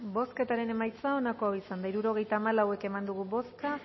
bozketaren emaitza onako izan da hirurogeita hamalau eman dugu bozka